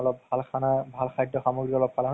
আপুনি কলে তো যামেই আৰু মই